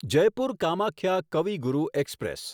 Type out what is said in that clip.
Jaipur Kamakhya Kavi Guru express